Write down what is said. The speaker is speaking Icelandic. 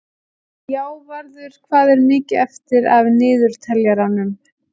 Játvarður, hvað er mikið eftir af niðurteljaranum?